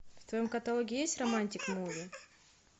в твоем каталоге есть романтик муви